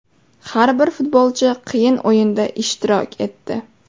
Har bir futbolchi qiyin o‘yinda ishtirok etdi.